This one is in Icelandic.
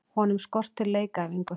Honum skortir leikæfingu.